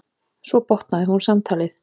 Svo botnaði hún samtalið.